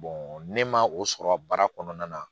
ne ma o sɔrɔ baara kɔnɔna na